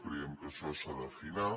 creiem que això s’ha d’afinar